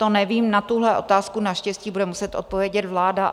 To nevím, na tuhle otázku naštěstí bude muset odpovědět vláda.